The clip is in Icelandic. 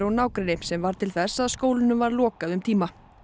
og nágrenni sem varð til þess að skólunum var lokað um tíma